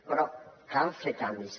però cal fer canvis